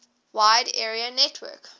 wide area network